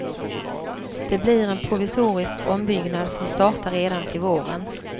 Det blir en provisorisk ombyggnad som startar redan till våren.